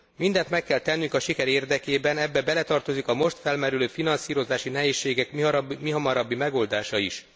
Mindent meg kell tennünk a siker érdekében. Ebbe beletartozik a most felmerülő finanszírozási nehézségek mihamarabbi megoldása is.